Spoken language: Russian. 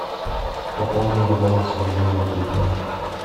пополнение баланса мобильного телефона